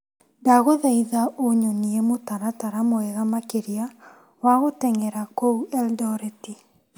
Ndagũthaitha ũnyonie mũtaratara mwega makĩria wa gũteng'era kũu Elondoreti.